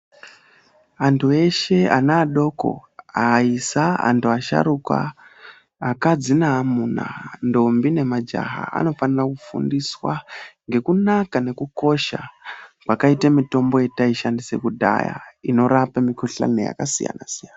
Vandu veshe ana adoko, aisa, andu asharuka, akadzi neamuna, ndombi nemagaya anofanira kufundiswaa ngekunaka nekukosha kwakaite mitombo yataishandise kudhayaa inorape shosha neyakasiyana siyana.